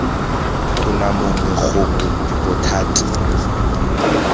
tona gongwe mongwe gongwe bothati